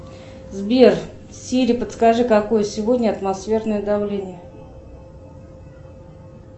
сбер сири подскажи какое сегодня атмосферное давление